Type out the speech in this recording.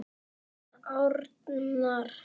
Þinn Arnar.